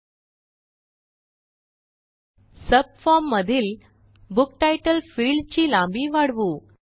एलटीपॉजेग्ट subform मधील book title field ची लांबी वाढवू